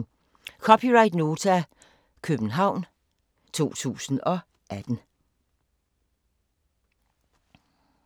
(c) Nota, København 2018